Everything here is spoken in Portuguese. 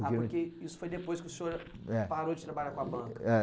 Ah, porque isso foi depois que o senhor, eh, parou de trabalhar com a banca. É.